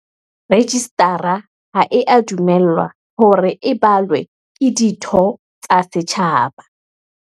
Rejistara ha ea dumellwa hore e balwe ke ditho tsa setjhaba.